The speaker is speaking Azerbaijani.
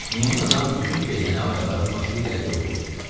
Meymun adam bütün gecəni ağacların başı ilə yol getdi.